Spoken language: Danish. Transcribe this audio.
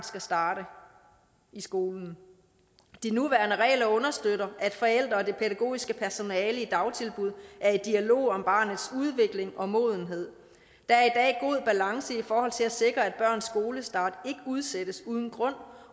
skal starte i skolen de nuværende regler understøtter at forældre og det pædagogiske personale i dagtilbud er i dialog om barnets udvikling og modenhed der er balance i forhold til at sikre at børns skolestart ikke udsættes uden grund